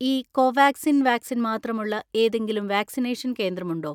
ഈ Covaxin vaccine മാത്രമുള്ള ഏതെങ്കിലും വാക്സിനേഷൻ കേന്ദ്രമുണ്ടോ?